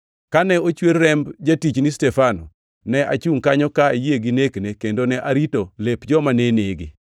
Kane ochwer remb jatichni Stefano, ne achungʼ kanyo kayie gi nekne kendo ne arito lep joma ne nege.’